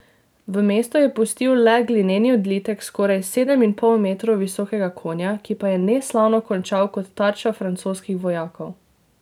V mestu je pustil le glineni odlitek skoraj sedem in pol metrov visokega konja, ki pa je neslavno končal kot tarča francoskih vojakov.